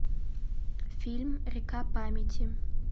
фильм река памяти